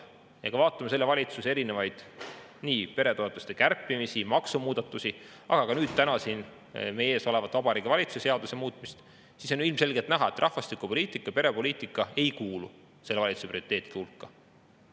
Kui me vaatame selle valitsuse erinevaid peretoetuste kärpimisi, maksumuudatusi ja nüüd täna siin meie ees olevat Vabariigi Valitsuse seaduse muutmist, siis on ju ilmselgelt näha, et rahvastikupoliitika ja perepoliitika ei kuulu selle valitsuse prioriteetide hulka.